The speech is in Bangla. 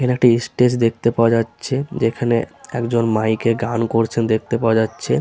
এখানে একটি স্টেজ দেখতে পাওয়া যাচ্ছে যেখানে একজন মাইক -এ গান করছে দেখতে পাওয়া যাচ্ছে ।